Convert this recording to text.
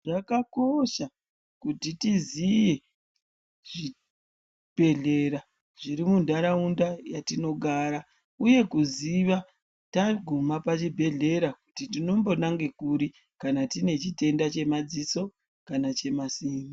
Zvakakosha kuti tiziye zvibhedhleya zviri muntaraunda matinogara, uye kuziva taguma pachibhedhlera kuti tinombo nange kuri kana tine chitenda chemaziso kana chemazino.